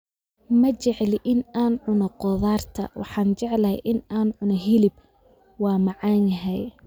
Ma jecli in aan cuno khudaarta, waxaan jeclahay in aan cuno hilib, waa macaan yahay